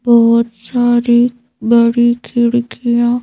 बहुत सारी बड़ी खिड़कियों--